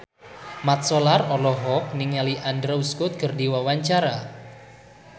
Mat Solar olohok ningali Andrew Scott keur diwawancara